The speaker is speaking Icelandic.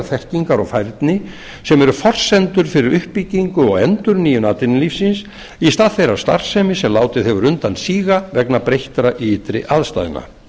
þekkingar og færni sem eru forsendur fyrir uppbyggingu og endurnýjun atvinnulífsins í stað þeirrar starfsemi sem látið hefur undan síga vegna breyttra ytri aðstæðna